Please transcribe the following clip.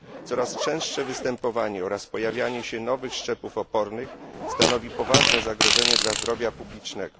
Coraz częstsze występowanie oraz pojawianie się nowych szczepów opornych stanowi poważne zagrożenie dla zdrowia publicznego.